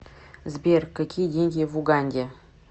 сбер какие деньги в уганде